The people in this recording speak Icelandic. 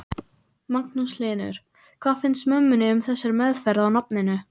Magnús Hlynur: Hvað finnst mömmunni um þessa meðferð á nafninu?